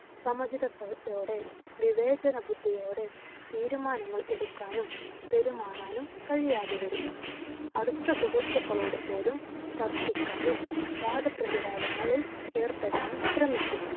സമചിതത്തോടെ വിവേചനബുദ്ധിയോടെ തീരുമാനങ്ങൾ എടുക്കുവാനും പെരുമാറാനും കഴിയാതെ വരും അടുത്ത സുഹൃത്തുക്കളോടു പോലും തർക്കിക്കാനും വാദപ്രതിവാദങ്ങളിൽ ഏർപ്പെടാനും ശ്രമിക്കും.